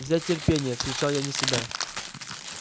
взять терпение вскричал я вне себя